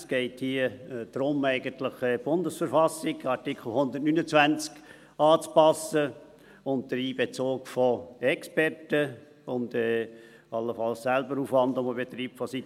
Es geht hier eigentlich darum, die Bundesverfassung – Artikel 129 – anzupassen, unter Einbezug von Experten und allenfalls mit Aufwand, den der Kanton selbst betreibt.